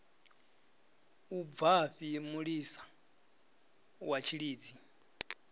u bvafhi mulisa wa tshilidzi